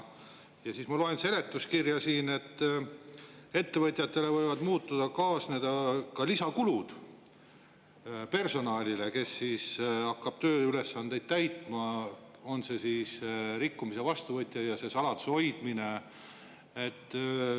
Aga ma loen siit seletuskirjast, et ettevõtetele võivad muudatusega kaasneda mõningad lisakulud personalile lisanduvate tööülesannete täitmise eest, on see siis seotud rikkumis või saladuse hoidmisega.